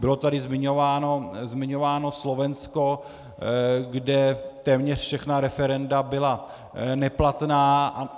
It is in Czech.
Bylo tady zmiňováno Slovensko, kde téměř všechna referenda byla neplatná.